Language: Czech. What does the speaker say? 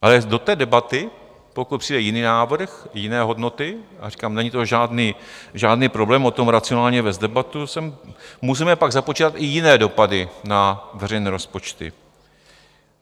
Ale do té debaty, pokud přijde jiný návrh, jiné hodnoty, a říkám, není to žádný problém o tom racionálně vést debatu, můžeme pak započítat i jiné dopady na veřejné rozpočty.